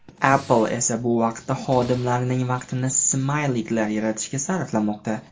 Apple esa bu vaqtda xodimlarining vaqtini smayliklar yaratishga sarflamoqda.